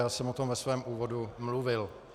Já jsem o tom ve svém úvodu mluvil.